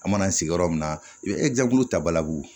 An mana sigi yɔrɔ min na i bɛ ta balabu